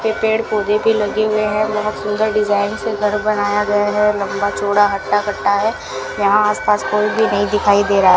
के पेड़ पौधे भी लगे हुए हैं बहुत सुंदर डिजाइन से घर बनाया गया है लंबा चौड़ा हटा कटा है यहां आस पास कोई भी नहीं दिखाई दे रहा --